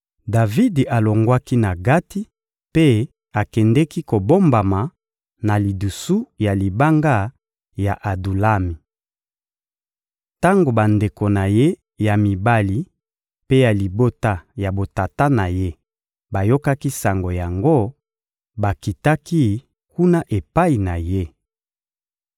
Davidi alongwaki na Gati mpe akendeki kobombama na lidusu ya libanga ya Adulami. Tango bandeko na ye ya mibali mpe ya libota ya botata na ye bayokaki sango yango, bakitaki kuna epai na ye.